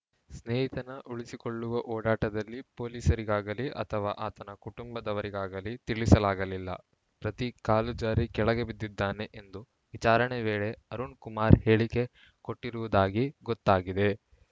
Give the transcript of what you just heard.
ಸ್ನೇಹಿತನ ಉಳಿಸಿಕೊಳ್ಳುವ ಓಡಾಟದಲ್ಲಿ ಪೊಲೀಸರಿಗಾಗಲಿ ಅಥವಾ ಆತನ ಕುಟುಂಬದವರಿಗಾಗಲಿ ತಿಳಿಸಲಾಗಲಿಲ್ಲ ಪ್ರತೀಕ್‌ ಕಾಲು ಜಾರಿ ಕೆಳಗೆ ಬಿದ್ದಿದ್ದಾನೆ ಎಂದು ವಿಚಾರಣೆ ವೇಳೆ ಅರುಣ್‌ ಕುಮಾರ್‌ ಹೇಳಿಕೆ ಕೊಟ್ಟಿರುವುದಾಗಿ ಗೊತ್ತಾಗಿದೆ